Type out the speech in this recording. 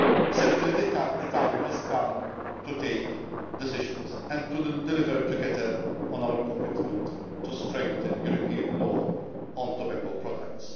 Certainly the time has come to take decisions and to deliver together on our commitment to strengthen European law on tobacco products.